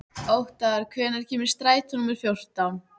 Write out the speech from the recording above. Óttar, hvenær kemur strætó númer fjórtán?